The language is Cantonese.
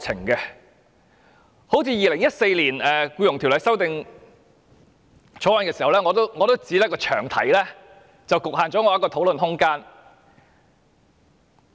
正如《2014年僱傭條例草案》，我也是被詳題局限了我的討論空間。